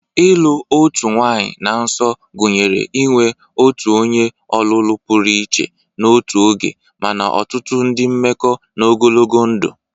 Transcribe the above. Ịlụ otu nwanyị na nso gụnyere inwe otu onye ọlụlụ pụrụ iche n'otu oge, mana ọtụtụ ndị mmekọ n'ogologo ndụ.